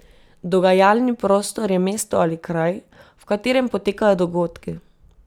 Dogajalni prostor je mesto ali kraj, v katerem potekajo dogodki.